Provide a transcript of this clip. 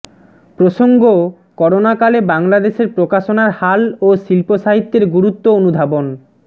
প্রসঙ্গঃ করোনাকালে বাংলাদেশের প্রকাশনার হাল ও শিল্পসাহিত্যের গুরুত্ব অনুধাবন